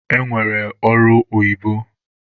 E nwere ọrụ oyibo.